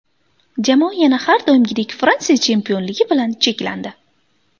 Jamoa yana har doimgidek Fransiya chempionligi bilan cheklandi.